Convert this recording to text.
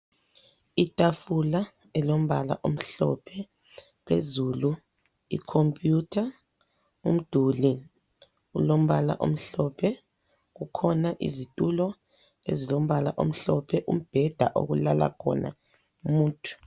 Itafula elombala omhlophe, phezulu icomputer ,umduli ulombala omhlophe kukhona izthulo ezilombala omhlophe, umbheda okulala khona umuntu.